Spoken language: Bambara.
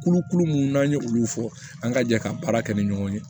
Kulukulu mun n'an ye olu fɔ an ka jɛ ka baara kɛ ni ɲɔgɔn ye